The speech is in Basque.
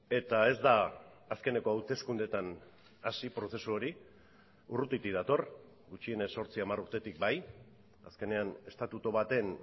eta ez da azkeneko hauteskundeetan hasi prozesu hori urrutitik dator gutxienez zortzi hamar urtetik bai azkenean estatutu baten